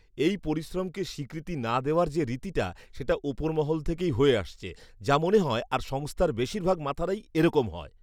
এই পরিশ্রমকে স্বীকৃতি না দেওয়ার যে রীতিটা সেটা ওপর মহল থেকেই হয়ে আসছে যা মনে হয় আর সংস্থার বেশিরভাগ মাথারাই এরকম হয়।